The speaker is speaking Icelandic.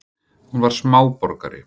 Hún var smáborgari.